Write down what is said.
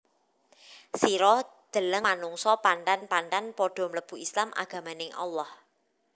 Sira deleng manungsa panthan panthan padha mlebu Islam agamaning Allah